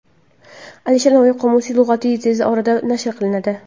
Alisher Navoiy qomusiy lug‘ati tez orada nashr qilinadi.